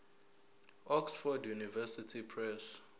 oxford university press